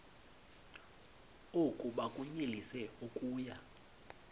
oku bakunyelise okuya